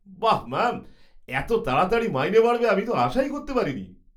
বাহ্, ম্যাম! এত তাড়াতাড়ি মাইনে বাড়বে আমি তো আশাই করতে পারিনি!